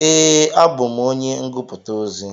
Ee, abú m onye ngụputa ozi.